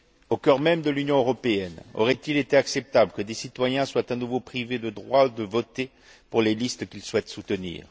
Au cœur même de l'Union européenne aurait il été acceptable que des citoyens soient à nouveau privés du droit de voter pour les listes qu'ils souhaitent soutenir?